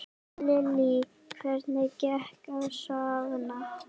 Lillý: Hvernig gekk að safna?